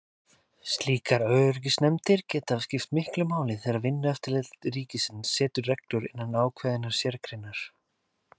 Slíkar öryggisnefndir geta skipt miklu máli þegar Vinnueftirlit ríkisins setur reglur innan ákveðinnar sérgreinar.